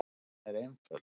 Ástæðan er einföld.